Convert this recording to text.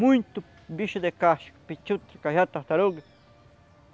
Muito bicho de caixa, petiu, trecajá, tartaruga.